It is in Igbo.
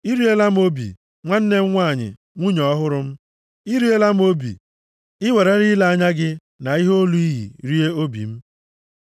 I riela m obi, nwanne m nwanyị, nwunye ọhụrụ m; i riela m obi, i werela ile anya gị na ihe olu i yi rie obi m.